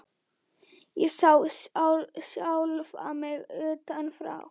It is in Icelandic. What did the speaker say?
Ég sá sjálfa mig utan frá.